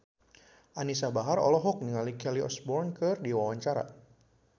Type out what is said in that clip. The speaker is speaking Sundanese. Anisa Bahar olohok ningali Kelly Osbourne keur diwawancara